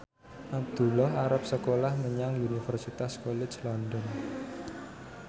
Abdullah arep sekolah menyang Universitas College London